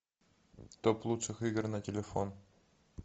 топ лучших игр на телефон